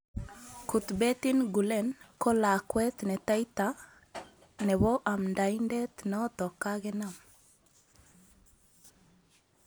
Kutbettin Gulen ko lakwet netaita nebo amndaindet notok kakenam.